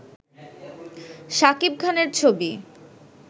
সাকিব খানের ছবি